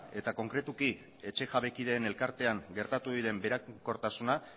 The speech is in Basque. eta konkretuki etxe jabekideen elkartean gertatu diren berankortasuna